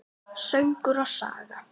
Söngur og saga.